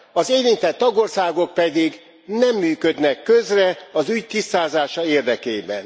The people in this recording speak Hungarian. Az érintett tagországok pedig nem működnek közre az ügy tisztázása érdekében.